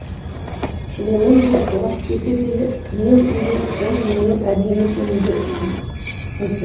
шыныменде уақыт өте келе күннен күнге ол менің әдемі екендігімді көрсе